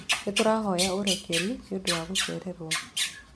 Nĩ tũrahoya ũrekeri nĩ ũndũ wa gũcererwo.